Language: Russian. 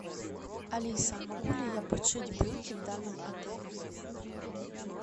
алиса могу ли я подшить брюки в данном отеле